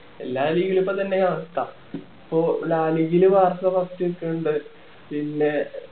എല്ലാ league ലും ഇതൊക്കെ തന്നെ ആണ് cup ഇപ്പൊ first നിക്കണുണ്ട് പിന്നെ